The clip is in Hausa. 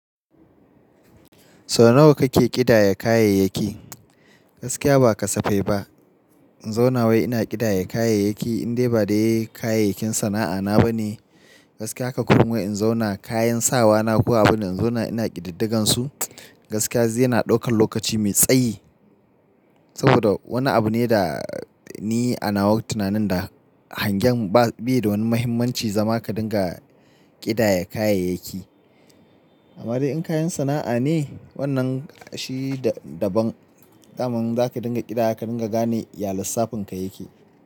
Sau nawa kake ƙidaya kayayyaki? Gaskiya ba kasafe ba. In zauna wai ina ƙidaya kayayyaki indai ba dai kayayyakin sana'ana ba ne. Gaskiya haka kuma in zauna kayan sawa na ko abin nan in zauna ina ƙididdigan su. Gaskiya zai na ɗaukan lokaci mai tsayi. Saboda wani abu ne da ni a nawa tunanin da hangen ba bi da wani mahimmanci zama ka dinga ƙidaya kayayyaki. Amma dai in kayan sana'a ne wannan shi daban. Da man za ka dinga ƙidayawa ka dinga gane ya lissafin ka ya ke.